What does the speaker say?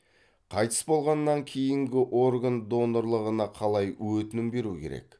қайтыс болғаннан кейінгі орган донорлығына қалай өтінім беру керек